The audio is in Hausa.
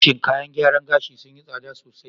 Shin kayan gyaran gashi sun yi tsada sosai?